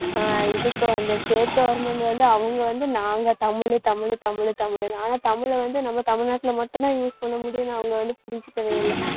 ஹம் இதுக்கு வந்து state government வந்து, அவங்க வந்து நாங்க தமிழு தமிழு தமிழு தமிழுன்னு, ஆனா தமிழ்ல வந்து நம்ம தமிழ்நாட்டுல மட்டும்தான் use பண்ணமுடியும்னு அவங்க வந்து புரிஞ்சுக்கவே இல்ல